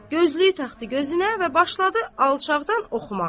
Gözlüyü taxdı gözünə və başladı alçaqdan oxumağa.